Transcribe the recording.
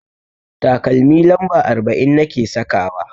Takalmi lamba arba'in nake sakawa.